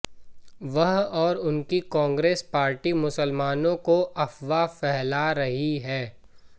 वह और उनकी कांग्रेस पार्टी मुसलमानों को अफवाह फैला रही है